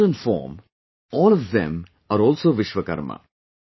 In modern form, all of them are also Vishwakarma